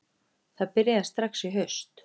Það byrjaði strax í haust